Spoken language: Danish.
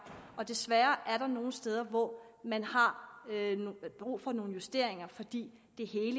desværre er der nogle steder hvor man har brug for nogle justeringer fordi det hele